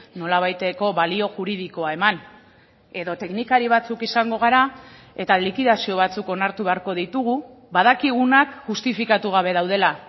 nolabaiteko balio juridikoa eman edo teknikari batzuk izango gara eta likidazio batzuk onartu beharko ditugu badakigunak justifikatu gabe daudela